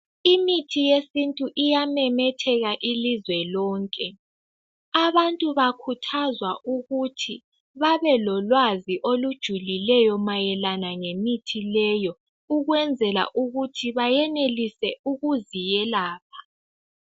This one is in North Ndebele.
Imithi yesintu iyamemetheka ilizwe lonke abantu bakhuthazwa ukuthi babelolwazi olujulileyo mayelana ngemithi leyo ukwenzela ukuthi bayenelise ukuzi yelapha.